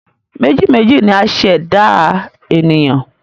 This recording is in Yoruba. Meji méjì ni a ṣe ẹ̀dá ènìyàn